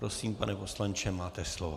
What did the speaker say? Prosím, pane poslanče, máte slovo.